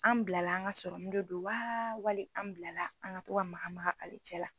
An bila la an ga de don wa wali an bila la an ga to ka maka maka ale cɛ la